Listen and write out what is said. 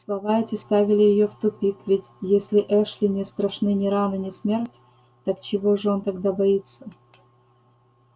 слова эти ставили её в тупик ведь если эшли не страшны ни раны ни смерть так чего же он тогда боится